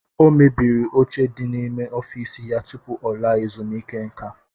O mebiri oche di n'ime ọfiisi ya tupu ọ laa ezumiike nka.